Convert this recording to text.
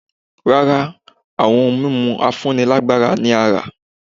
Rárá, àwọn ohun mímu afúnílágbára ni a rá